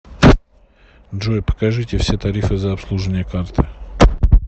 джой покажите все тарифы за обслуживание карты